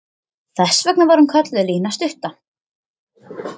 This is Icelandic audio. Þess vegna var hún kölluð Lína stutta.